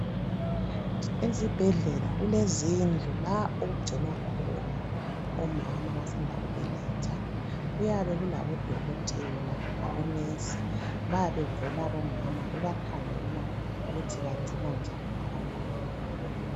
Ezibhedlela kulezindlu la okugcinwa khona omama abasanda kubeletha kuyabe kulabo dokotela labo nesi bebekhangela ukuthi bagcina njani abantwana babo .